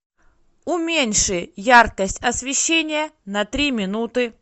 уменьши яркость освещения на три минуты